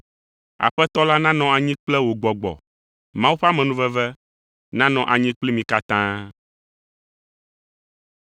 Aƒetɔ la nanɔ anyi kple wò gbɔgbɔ. Mawu ƒe amenuveve nanɔ anyi kpli mi katã.